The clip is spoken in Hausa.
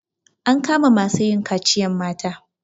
An kama masu yin kaciyan mata.